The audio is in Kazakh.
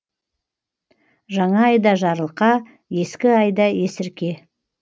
жаңа айда жарылқа ескі айда есірке